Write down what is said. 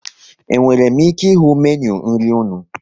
E nwere m ike ịhụ Meenụ nri unu?